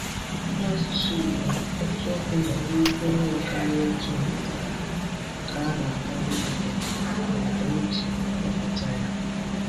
N’asụsụ Igbo, otu okwu nwere ike ịnwekarị otu mpụtara nke a na-agbado ụkwụ n’ụda eji a kpọpụta ya.